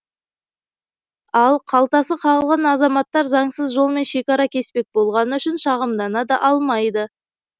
ал қалтасы қағылған азаматтар заңсыз жолмен шекара кеспек болғаны үшін шағымдана да алмайды